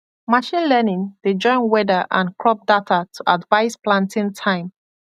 machine learning dey join weather and crop data to advise planting time